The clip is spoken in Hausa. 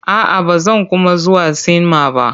A'a, ba zan kuma zuwa sinmma ba.